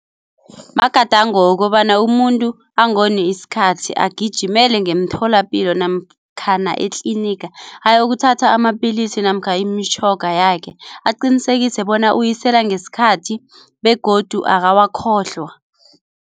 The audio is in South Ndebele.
Magadango wokobana umuntu angoni isikhathi agijimele ngemtholapilo namkhana etliniga ayokuthatha amapilisi namkha imitjhoga yakhe aqinisekise bona uyisela ngesikhathi begodu akawakhohlwa.